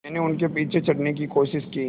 मैंने उनके पीछे चढ़ने की कोशिश की